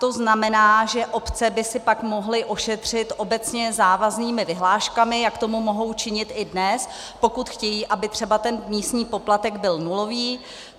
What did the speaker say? To znamená, že obce by si pak mohly ošetřit obecně závaznými vyhláškami, jak tomu mohou činit i dnes, pokud chtějí, aby třeba ten místní poplatek byl nulový.